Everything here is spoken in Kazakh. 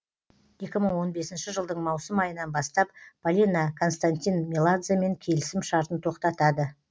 екі мың он бесінші жылдың маусым айынан бастап полина константин меладземен келісім шартын тоқтатады